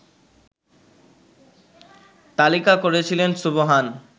তালিকা করেছিলেন সুবহান